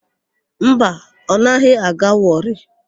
Mba, ọ naghị aga Wọrị.